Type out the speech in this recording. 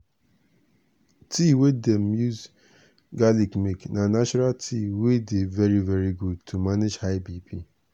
tea wey dem take garlic make na natural tea wey dey very very good to manage high bp.